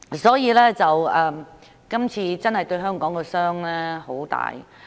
因此，這次真的對香港造成很大傷害。